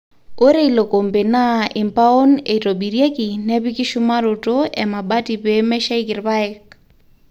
ore ilo kombe naa impaon eitobirrieki nepiki shumaroto emabati pee meshaiki irpaek